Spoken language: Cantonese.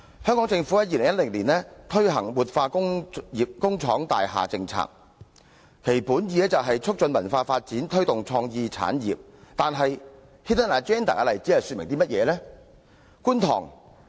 香港政府於2010年推行活化工廠大廈政策，其本意為"促進文化發展，推動創意產業"，但 Hidden Agenda 的例子又說明了甚麼呢？